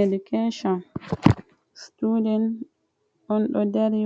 Edikecon sutuden on ɗo dari